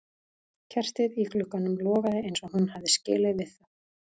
Kertið í glugganum logaði eins og hún hafði skilið við það.